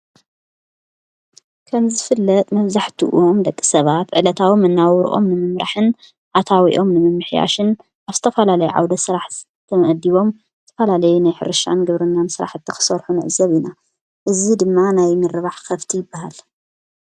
ከንዘፍለጥ ነዘሕቲእም ደቂ ሰባት ዕለታዎም መነባብ ናውርኦም ንምምራሕን ኣታዊኦም ንምምሕያሽን ኣስተፈላለይ ዓውደ ሠራሕ ተምነዲቦም ፈላለይ ናይሕርሻን ግብርናን ሠራሕ እተኽሠርኁ ነዕ ዘብ ኢና እዚ ድማ ናይ ምርባሕ ኸፍቲ ይበሃል::